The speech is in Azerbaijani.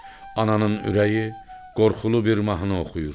Ananın ürəyi qorxulu bir mahnı oxuyur.